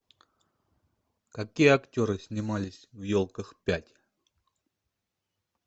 какие актеры снимались в елках пять